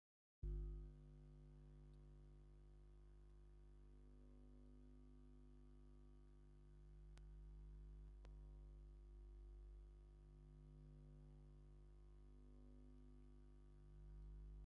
እቶም ክልተ መንኣሰይ ወድን ጓል ኮይኖም ነፀላ ወይ ድማ ናይ ራያ ቮፍየ ተከዲኖም ኣለው ። እቲ ወዲ ተባዕታይ ኣብ ማዓንጡኡ ገይርዋ ዘሎ እንታይ ይባሃል ?